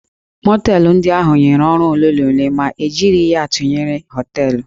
Mọteelụ ndị ahụ nyere ọrụ ole na ole ma e jiri ya tụnyere hóteélụ̀